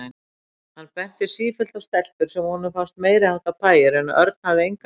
Hann benti sífellt á stelpur sem honum fannst meiriháttar pæjur en Örn hafði engan áhuga.